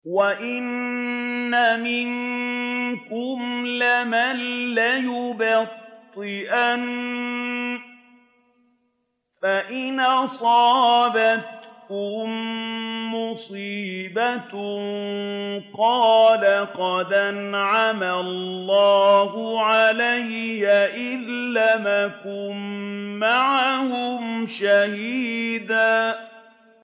وَإِنَّ مِنكُمْ لَمَن لَّيُبَطِّئَنَّ فَإِنْ أَصَابَتْكُم مُّصِيبَةٌ قَالَ قَدْ أَنْعَمَ اللَّهُ عَلَيَّ إِذْ لَمْ أَكُن مَّعَهُمْ شَهِيدًا